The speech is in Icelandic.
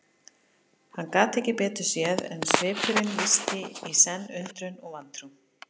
Hann gat ekki betur séð en svipurinn lýsti í senn undrun og vantrú.